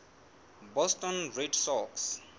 boston red sox